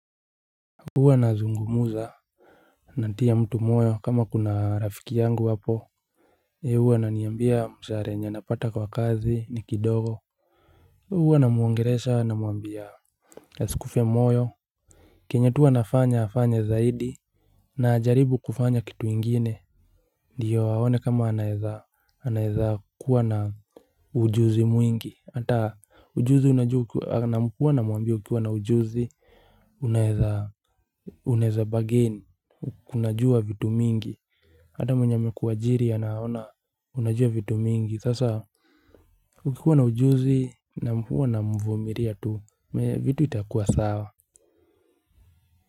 Huwa nazungumuza. Natia mtu moyo kama kuna rafiki yangu hapo yeye huwa ananiambia mshahara yenye anapata kwa kazi ni kidogo. Huwa namuongelesha namuambia askufe moyo. Kenye tu anafanya afanye zaidi na ajaribu kufanya kitu ingine. Ndiyo waone kama anaeza anaeza kuwa na ujuzi mwingi ata ujuzi unajuu kuwa na muambia ukiwa na ujuzi unaeza unaeza bagain kunajua vitu mingi hata mwenye amekuajiri anaona. Unajua vitu mingi. Sasa ukikuwa na ujuzi na mfuwa na mvumiria tu. Vitu itakuwa sawa.